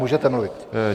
Můžete mluvit.